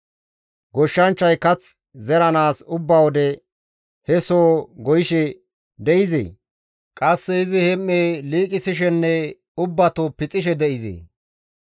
Goshshanchchay kath zeranaas ubba wode he soho goyishe de7izee? Qasse izi hem7e liiqisishenne ubbato pixishe de7izee?